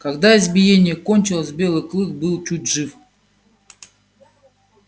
когда избиение кончилось белый клык был чуть жив